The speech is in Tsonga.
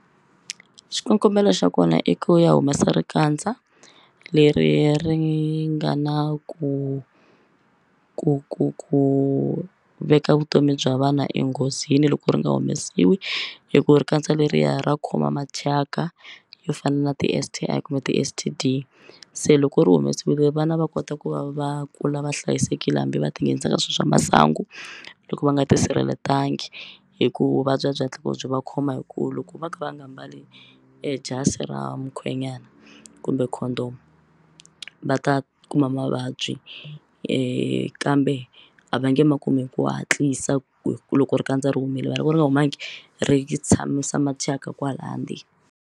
Xikongomelo xa kona i ku ya humesa rikandza leri ri nga na ku ku ku ku veka vutomi bya vana enghozini loko ri nga humesiwi hi ku rikandza leriya ra khoma mathyaka yo fana na ti-S_T_I kumbe ti-S_T_D se loko u ri humesiwile vana va kota ku va va kula va hlayisekile hambi va ti nghenisa ka swilo swa masangu loko va nga tisirhelelanga hi ku vuvabyi a byi hatli ku byi va khoma hi ku loko va kha va nga mbali jasi ra mukhwenyana kumbe Condom va ta kuma mavabyi kambe a va nge ma kumi hi ku hatlisa ku hi ku loko rikandza ri humile mara loko ri nga humangi ri tshamisa mathyaka kwala ndzeni.